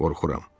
Qorxuram.